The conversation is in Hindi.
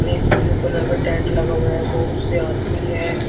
एक ब्लू कलर का टेंट लगा हुआ है बहुत से आदमी है।